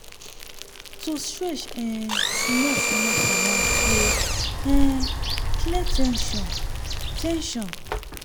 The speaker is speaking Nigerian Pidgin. to stretch um small-small for night dey um clear ten sion. ten sion.